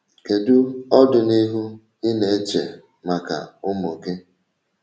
Kedu ọdịnihu ị na-eche maka ụmụ gị?